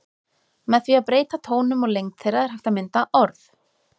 Með því að breyta tónum og lengd þeirra er hægt að mynda orð.